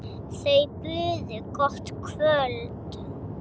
Þau buðu gott kvöld.